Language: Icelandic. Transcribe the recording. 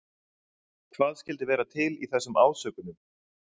Hvað skyldi vera til í þessum ásökunum?